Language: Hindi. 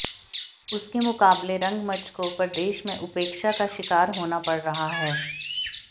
उसके मुकाबले रंगमंच को प्रदेश में उपेक्षा का शिकार होना पड़ रहा है